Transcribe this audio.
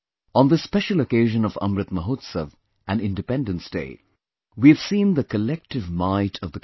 On this special occasion of Amrit Mahotsav and Independence Day, we have seen the collective might of the country